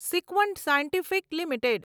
Sequent Scientific limited